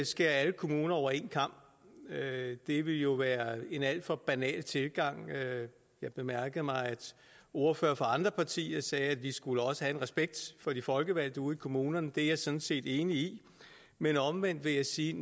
skære alle kommuner over en kam det ville jo være en alt for banal tilgang jeg bemærkede mig at ordførere fra andre partier sagde at vi også skulle have respekt for de folkevalgte ude i kommunerne det er jeg sådan set enig i men omvendt vil jeg sige